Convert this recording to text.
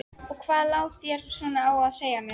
Og hvað lá þér svona á að segja mér?